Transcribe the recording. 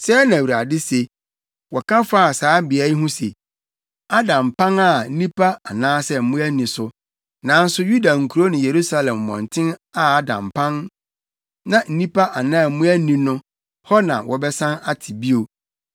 “Sɛɛ na Awurade se: ‘Woka fa saa beae yi ho se, “Ada mpan a nnipa anaasɛ mmoa nni so.” Nanso Yuda nkurow ne Yerusalem mmɔnten a ada mpan na nnipa anaa mmoa nni no, hɔ na wɔbɛsan ate bio,